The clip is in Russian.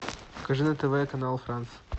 покажи на тв канал франс